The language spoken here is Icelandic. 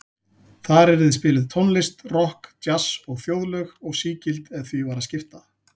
Þar yrði spiluð tónlist, rokk, djass og þjóðlög, og sígild ef því var að skipta.